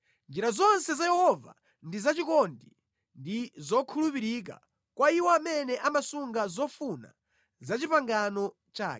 Njira zonse za Yehova ndi zachikondi ndi zokhulupirika kwa iwo amene amasunga zofuna za pangano lake.